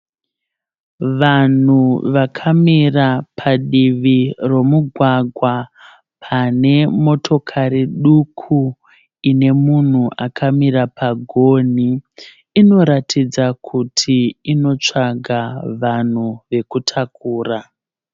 Vanhu vakamira padivi romugwagwa pane motokari duku ine munhu akamira pagonhi. Inoratidza kuti inotsvaga vanhu vekutakura.